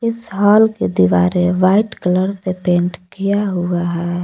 इस हॉल के दीवारे व्हाइट कलर से पेंट किया हुआ है।